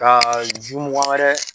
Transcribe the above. ka ju mugan wɛrɛ